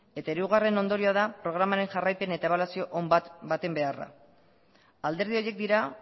eta hirugarren ondorio da programaren jarraipen eta ebaluazio on baten beharra alderdi horiek dira